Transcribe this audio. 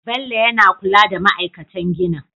Bello yana kula da ma'aikatan ginin